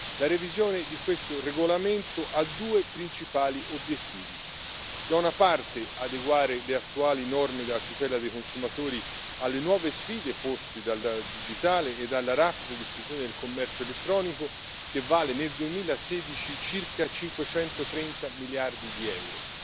La revisione di questo regolamento ha due principali obiettivi da una parte, adeguare le attuali norme della tutela dei consumatori alle nuove sfide poste dal digitale e dalla rapida diffusione del commercio elettronico, che vale nel 2016 circa 530 miliardi di euro,